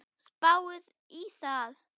Spáið í það!